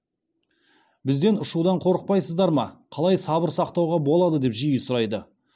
бізден ұшудан қорықпайсыздар ма қалай сабыр сақтауға болады деп жиі сұрайды